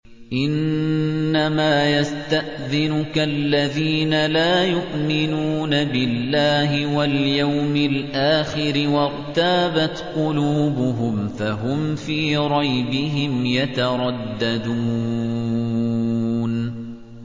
إِنَّمَا يَسْتَأْذِنُكَ الَّذِينَ لَا يُؤْمِنُونَ بِاللَّهِ وَالْيَوْمِ الْآخِرِ وَارْتَابَتْ قُلُوبُهُمْ فَهُمْ فِي رَيْبِهِمْ يَتَرَدَّدُونَ